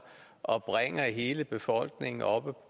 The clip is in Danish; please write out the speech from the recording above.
og bringer hele befolkningen oppe